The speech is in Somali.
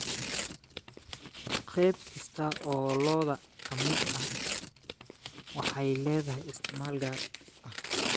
Qayb kasta oo lo'da ka mid ah waxay leedahay isticmaal gaar ah.